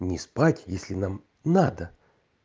не спать если нам надо